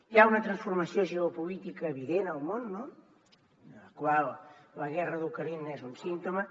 hi ha una transformació geopolítica evident al món en la qual la guerra d’ucraïna n’és un símptoma